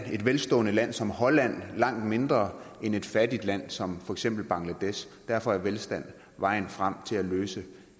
velstående land som holland langt mindre end et fattigt land som for eksempel bangladesh derfor er velstand vejen frem til at løse